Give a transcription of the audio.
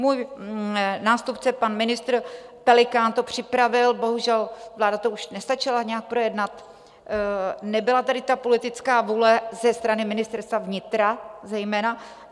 Můj nástupce pan ministr Pelikán to připravil, bohužel, vláda to už nestačila nějak projednat, nebyla tady ta politická vůle, ze strany Ministerstva vnitra zejména.